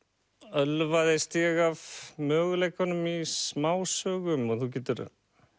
ölvaðist ég af möguleikunum í smásögum og þú getur